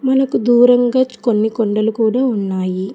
నకు దూరంగా కొన్ని కొండలు కూడా ఉన్నాయి.